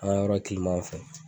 An ŋa yɔrɔ w fɛnɛ